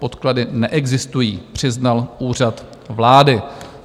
Podklady neexistují, přiznal Úřad vlády."